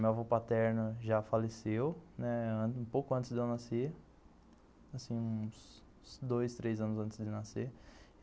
Meu avô paterno já faleceu, né, um pouco antes de eu nascer, assim uns dois, três anos antes de nascer.